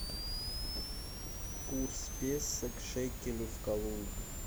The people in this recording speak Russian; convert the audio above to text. курс песо к шекелю в калуге